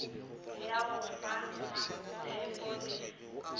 ya go fa mmatshepho le